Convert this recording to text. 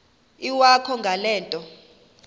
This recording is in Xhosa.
iwakho ngale nto